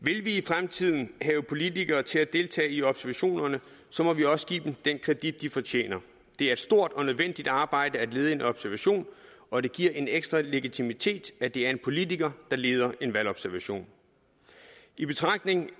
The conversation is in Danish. vil vi i fremtiden have politikere til at deltage i observationerne må vi også give dem den credit de fortjener det er et stort og nødvendigt arbejde at lede en observation og det giver en ekstra legitimitet at det er en politiker der leder en valgobservation i betragtning